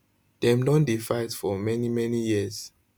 dem don dey fight for many many years